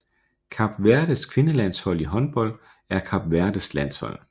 Kap Verdes kvindelandshold i håndbold er Kap Verdes landshold